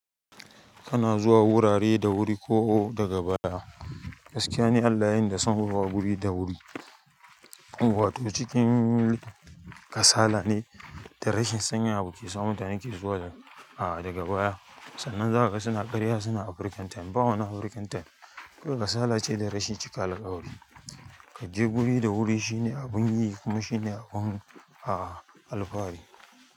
Kana zuwa wurare da wuri ko daga baya. Gaskiya ne Allah yayi ni da son zuwa guri da wuri. Wato cikin kasala ne da rashin sanya abu ke sa mutane ke zuwa, ahh daga baya. Sannan zaka ga suna ƙarya suna African time. Ba wani African time. Kawai kasala ce da rashin cika alƙawari. Ka je guri da wuri shine abun yi kuma shine abun alfahari.